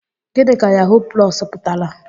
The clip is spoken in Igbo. Gịnị ka yahuu plọs pụtara?